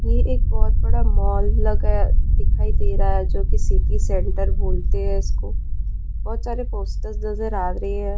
यह एक बहुत बड़ा मॉल लगा दिखाई दे रहा है जो की सिटी सेंटर बोलते हैं उसक बहुत सारे पोस्टर्स नजर आ रही है।